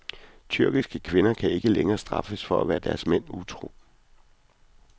Tyrkiske kvinder kan ikke længere straffes for at være deres mænd utro.